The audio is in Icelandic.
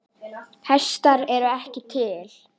Hestar eru ekki til.